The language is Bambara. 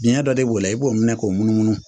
Diɲɛ dɔ de b'o la i b'o minɛ k'o munu munu